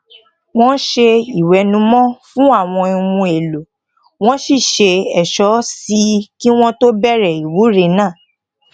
wón se iwenumo fún àwọn ohun èlò won sì ṣe ẹso sí i ki won tó bèrè ìwúre náà